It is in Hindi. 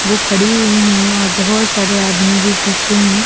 वो खड़ी हुई है और बहोत सारे आदमी लोग पीछे है।